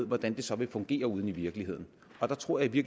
hvordan det så vil fungere ude i virkeligheden og der tror jeg i